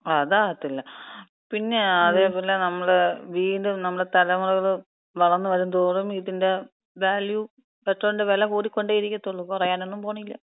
ങാ, അതാകത്തില്ല. പിന്നെ അതേപോലെ നമ്മള വീണ്ടും നമ്മള തലമുറകള് വളർന്ന് വരുംതോറും ഇതിന്‍റെ വാല്യൂ പെട്രോളിന്‍റെ വില കൂടിക്കൊണ്ടേ ഇരിക്കത്തൊള്ളു. കൊറയാനൊന്നും പോണില്ല.